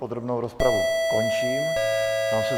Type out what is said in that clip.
Podrobnou rozpravu končím.